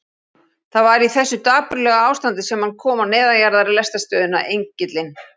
Það var í þessu dapurlega ástandi sem hann kom á neðanjarðarlestarstöðina Engilinn.